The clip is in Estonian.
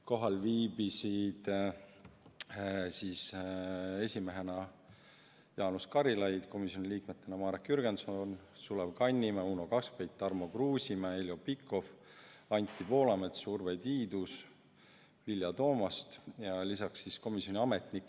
Kohal viibisid esimees Jaanus Karilaid, komisjoni liikmed Marek Jürgenson, Sulev Kannimäe, Uno Kaskpeit, Tarmo Kruusimäe, Heljo Pikhof, Anti Poolamets, Urve Tiidus, Vilja Toomast ja komisjoni ametnikud.